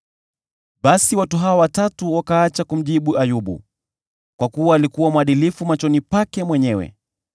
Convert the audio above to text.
Basi watu hawa watatu wakaacha kumjibu Ayubu, kwa kuwa alikuwa mwadilifu machoni pake mwenyewe.